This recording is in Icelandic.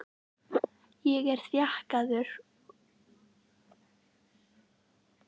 Ég er þjakaður af óbærilegri kvöl hvern einasta dag.